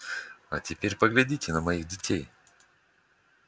а теперь поглядите на моих детей